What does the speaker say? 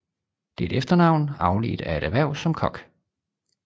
Det er et efternavn afledt af et erhverv som kok